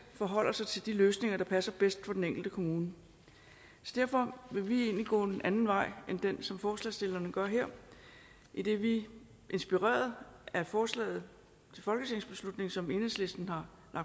forholder sig til de løsninger der passer bedst til den enkelte kommune derfor vil vi egentlig gå en anden vej end den som forslagsstillerne gør her idet vi inspireret af forslaget til folketingsbeslutning som enhedslisten har